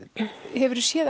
hefurðu séð